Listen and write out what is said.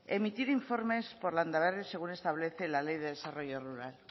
emitir informes por landaberri según establece la ley de desarrollo rural